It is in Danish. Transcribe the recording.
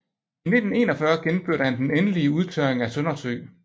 I 1941 gennemførte han den endelige udtørring af Søndersø